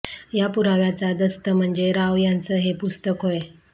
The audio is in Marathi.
या पुराव्यांचा दस्त म्हणजे राव यांचं हे पुस्तक होय